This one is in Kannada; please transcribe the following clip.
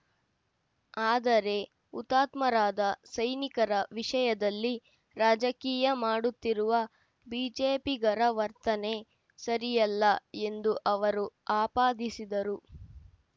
ಆದರೆ ಹುತಾತ್ಮರಾದ ಸೈನಿಕರ ವಿಷಯದಲ್ಲಿ ರಾಜಕೀಯ ಮಾಡುತ್ತಿರುವ ಬಿಜೆಪಿಗರ ವರ್ತನೆ ಸರಿಯಲ್ಲ ಎಂದು ಅವರು ಆಪಾದಿಸಿದರು